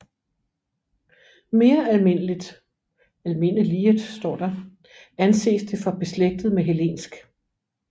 Mere almindeliget anses det for beslægtet med hellensk